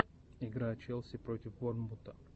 игра челси против борнмута